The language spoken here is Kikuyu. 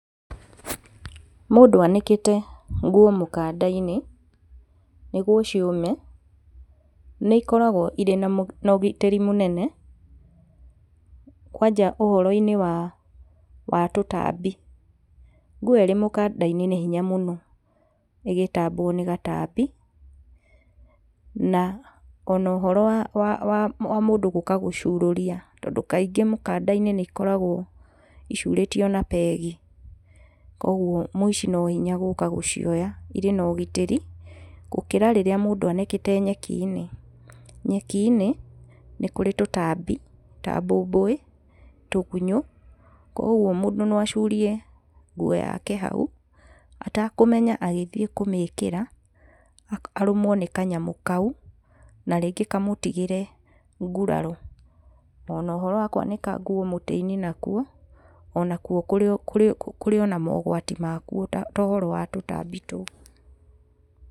Mũndũ anĩkĩte nguo mũkanda-inĩ nĩguo ciũme nĩ ikoragwo irĩ na ũgitĩri mũnene kwanja ũhoro-inĩ wa tũtambi. Nguo ĩrĩ mũkanda-inĩ nĩ hinya mũno ĩgĩtambwo nĩ gatambi na ona ũhoro wa mũndũ gũka gũcurũria tondũ kaingĩ mũkanda-inĩ nĩ ikoragwo icurĩtio na pegi kũoguo mũici no hinya gũka gũcioya, irĩ na ũgitĩrĩ gũkĩra rĩrĩa mũndũ anĩkĩte nyeki-inĩ. Nyeki-inĩ nĩ kũrĩ tũtambi ta mbũmbũĩ, tũgunyũ kũoguo mũndũ no acurie nguo yake hau atakũmenya agĩthiĩ kũmĩkĩra arũmwo nĩ kanyamũ kau na rĩngĩ kamũtigĩre nguraro, ona ũhoro wa kwanĩka mũtĩ-inĩ nakuo, ona kuo kũrĩ ona mogwati makuo ta ũhoro wa tũtambi tũu.